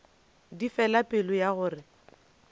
di fela pelo ya gore